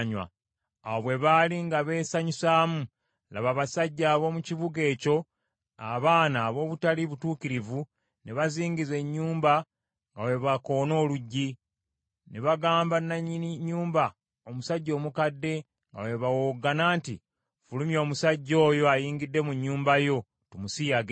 Awo bwe baali nga beesanyusaamu, laba, abasajja ab’omu kibuga ekyo, abaana ab’obutali butuukirivu ne bazingiza ennyumba nga bwe bakoona oluggi. Ne bagamba nannyini nnyumba, omusajja omukadde nga bwe bawowoggana nti, “Fulumya omusajja oyo ayingidde mu nnyumba yo, tumusiyage.”